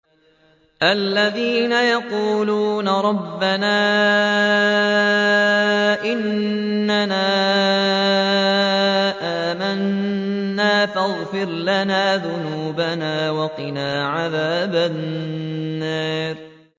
الَّذِينَ يَقُولُونَ رَبَّنَا إِنَّنَا آمَنَّا فَاغْفِرْ لَنَا ذُنُوبَنَا وَقِنَا عَذَابَ النَّارِ